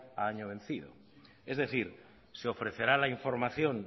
a año vencido es decir se ofrecerá la información